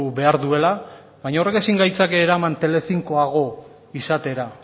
behar duela baina horrek ezin gaitzake eraman telecincoago izatera